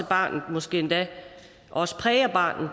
barnet og måske endda også præger